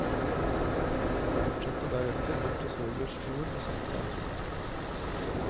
Fortsatte deretter bort til svogers bord og satte seg.